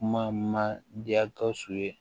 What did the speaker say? Kuma ma diya gawusu ye